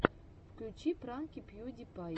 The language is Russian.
включи пранки пью ди пай